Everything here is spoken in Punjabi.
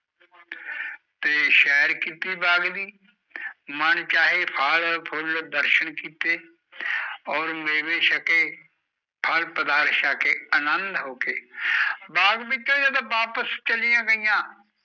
ਤੇ ਸ਼ੇਰ ਕੀਤੀ ਬਾਗ ਦੀ ਮਾਨ ਛਾਏ ਫਲ ਫੁੱਲ ਦਰਸ਼ਨ ਕੀਤੇ ਓਰ ਮੇਵੇ ਸ਼ਕੇ ਫਲ ਅਨਦ ਹੋਕੇ ਬਾਜ ਚੋ ਜਦੋ ਵਾਪਿਸ ਚਲਿਆ ਗਿਆ